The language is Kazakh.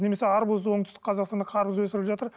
немесе арбузды оңтүстік қазақстанда қарбыз өсіріліп жатыр